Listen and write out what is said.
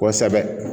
Kosɛbɛ